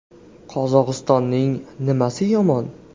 Qozog‘istonning nimasi yomon?